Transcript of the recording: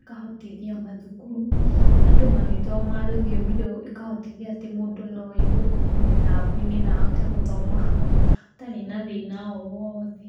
ĩkahotithia mathukuru, andũ magĩthoma rũthiomi rou ĩkahotithia atĩ mũndũ no aigue kuma mĩtambo-inĩ na ahote gũthoma hau atarĩ na thĩna o woothe.